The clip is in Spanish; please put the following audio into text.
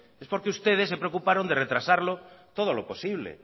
es porque ustedes se preocuparon de retrasarlo todo lo posible